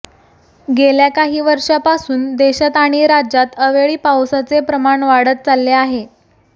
गेल्या काही वर्षांपासून देशात आणि राज्यात अवेळी पावसाचे प्रमाण वाढत चालले आहे